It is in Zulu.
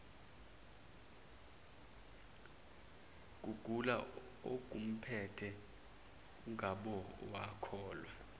kugula okumphethe ungabowakhohlwa